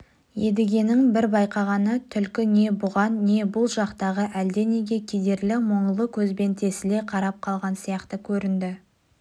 едігенің бір байқағаны түлкі не бұған не бұл жақтағы әлденеге кедерлі-мұңлы көзбен тесіле қарап қалған сияқты көрінді